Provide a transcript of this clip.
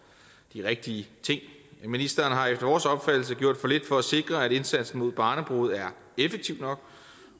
de rigtige ting ministeren har efter vores opfattelse gjort for lidt for at sikre at indsatsen mod barnebrude er effektiv nok